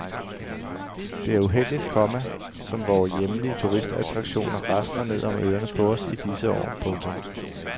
Det er uheldigt, komma som vore hjemlige turistattraktioner rasler ned om ørerne på os i disse år. punktum